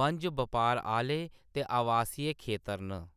बंज-बपार आह्‌ले ते आवासीय खेतर न।